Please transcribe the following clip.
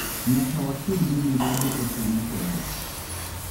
Nyaka waked gi mibadhi e piny Kenya.